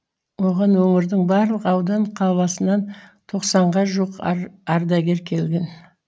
оған өңірдің барлық аудан қаласынан тоқсанға жуық ардагер келген